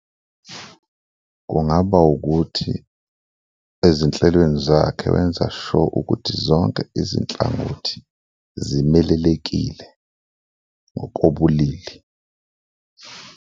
Kungaba ukuthi ezinhlelweni zakhe wenza sure ukuthi zonke izinhlangothi zimelelekile ngokobulili.